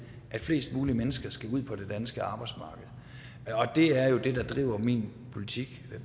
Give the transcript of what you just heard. at flest mulige mennesker skal ud på det danske arbejdsmarked og det er jo det der driver min politik